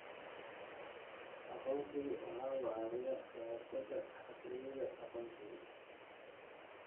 Aqoonsigu waxa uu caawiyaa ka hortagga xatooyada aqoonsiga.